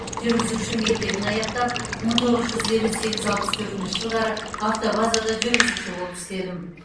жүргізуші мектебін аяқтап мың тоғыз жүз елу сегіз алпыс төртінші жылдары автобазада жүргізуші болып істедім